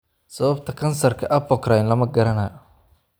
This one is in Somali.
Sababta kansarka apocrine lama garanayo.